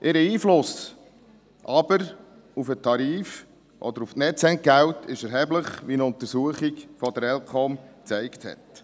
Ihr Einfluss aber auf den Tarif oder auf die Netzentgelte ist erheblich, wie eine Untersuchung der ElCom gezeigt hat.